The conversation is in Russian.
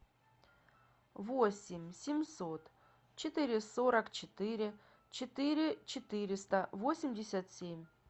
восемь семьсот четыре сорок четыре четыре четыреста восемьдесят семь